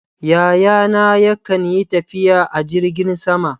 Yayana yakan yi tafiya a jirgin sama.